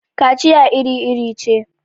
kaciya iri-iri ce